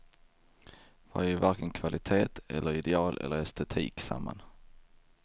Vi har ju varken kvalitet eller ideal eller estetik samman.